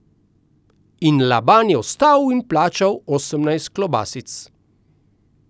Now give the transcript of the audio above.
In Laban je vstal in plačal osemnajst klobasic.